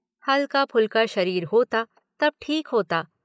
हल्का फुल्का शरीर होता तब ठीक होता।